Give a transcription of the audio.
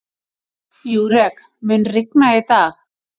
Júrek, mun rigna í dag?